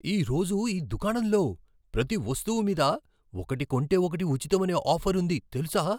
ఈ రోజు ఈ దుకాణంలో ప్రతి వస్తువు మీద ఒకటి కొంటే ఒకటి ఉచితం అనే ఆఫర్ ఉంది తెలుసా?